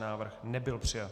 Návrh nebyl přijat.